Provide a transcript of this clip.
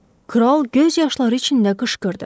Kral göz yaşları içində qışqırdı.